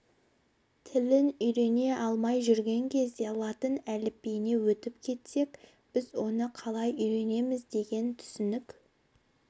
тілін үйрене алмай жүрген кезде латын әліпбиіне өтіп кетсек біз оны қалай үйренеміз деген түсінік